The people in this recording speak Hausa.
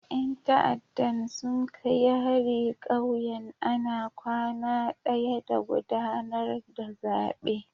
Yan ta'addan sun kai hari kauyen ana kwana daya da gudanar da zabe.